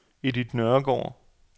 Edith Nørregaard